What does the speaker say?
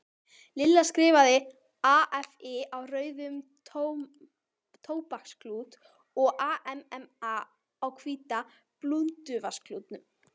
Lilla skrifaði AFI á rauðan tóbaksklút og AMMA á hvítan blúnduvasaklút.